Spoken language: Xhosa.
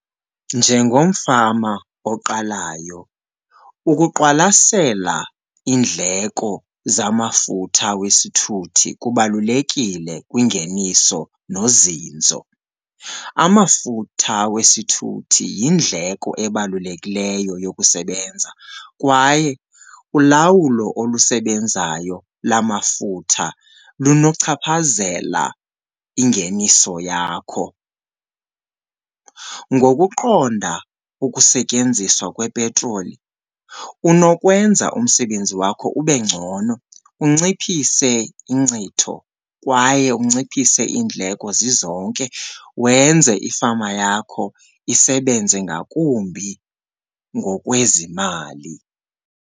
Njengomfama oqalayo, ukuqwalasela iindleko zamafutha wesithuthi kubalulekile kwingeniso nozinzo. Amafutha wesithuthi yindleko ebalulekileyo yokusebenza kwaye ulawulo olusebenzayo lamafutha lunochaphazela ingeniso yakho. Ngokuqonda ukusetyenziswa kwepetroli unokwenza umsebenzi wakho ube ngcono, unciphise inkcitho kwaye unciphise iindleko zizonke, wenze ifama yakho isebenze ngakumbi ngokwezimali.